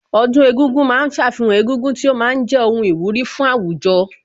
Ọdún egúngún ma ń ṣàfihàn egúngún tí ó ma ń jẹ́ ohun ìwúrí fún àwùjọ